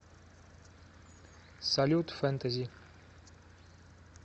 салют фентези